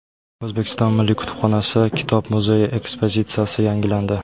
O‘zbekiston Milliy kutubxonasi kitob muzeyi ekspozitsiyasi yangilandi.